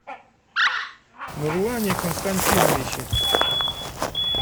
нурлане константиновиче